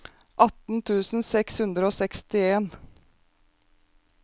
atten tusen seks hundre og sekstien